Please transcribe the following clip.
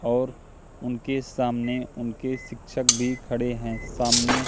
और उनके सामने उनके शिक्षक भी खड़े हैं सामने--